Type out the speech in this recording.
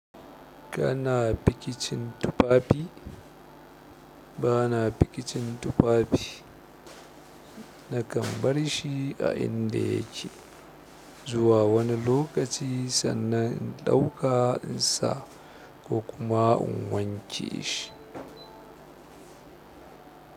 Kana pikicin tufafi? Bana pikicin tufafi. Nakan bar shi a inda yake, zuwa wani lokaci sannan in ɗauka in sa ko kuma in wanke shi.